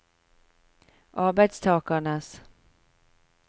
arbeidstakernes